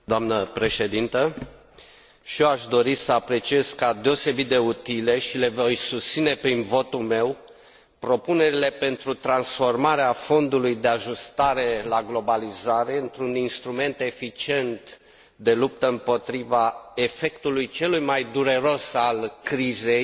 Și eu aș dori să apreciez ca deosebit de utile și le voi susține prin votul meu propunerile pentru transformarea Fondului de ajustare la globalizare într un instrument eficient de luptă împotriva efectului celui mai dureros al crizei